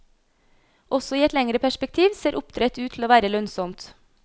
Også i et lengre perspektiv ser oppdrett ut til å være lønnsomt.